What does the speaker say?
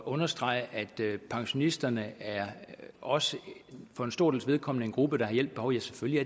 understrege at pensionisterne også for en stor dels vedkommende er en gruppe der har hjælp behov ja selvfølgelig